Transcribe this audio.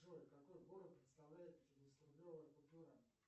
джой какой город представляет пятидесяти рублевая купюра